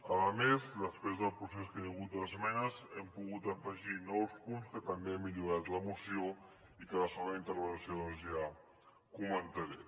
a més després del procés que hi ha hagut d’esmenes hem pogut afegir nous punts que també han millorat la moció i que a la segona intervenció doncs ja comentaré